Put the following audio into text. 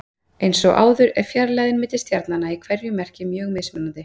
Eins og áður segir er fjarlægðin milli stjarnanna í hverju merki mjög mismunandi.